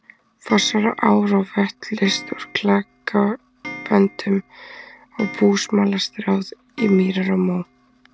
Fossar og ár og vötn leyst úr klakaböndum og búsmala stráð í mýrar og mó.